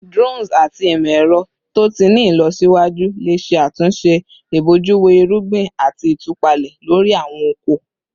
Drones ati imọ-ẹrọ to ti ni ilọsiwaju le ṣe atunṣe ibojuwo irugbin ati itupalẹ lori awọn oko